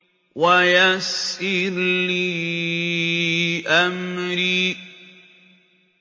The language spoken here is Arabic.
وَيَسِّرْ لِي أَمْرِي